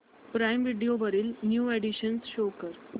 prime video वरील new additions show कर